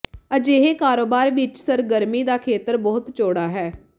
ਅਜਿਹੇ ਕਾਰੋਬਾਰ ਵਿੱਚ ਸਰਗਰਮੀ ਦਾ ਖੇਤਰ ਬਹੁਤ ਚੌੜਾ ਹੈ